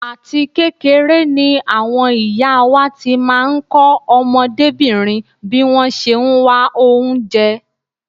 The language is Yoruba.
Àti kékeré ni àwọn ìyá wá ti máa ń kọ́ ọmọdébìnrin bí wọ́n ṣe ń wá oúnjẹ.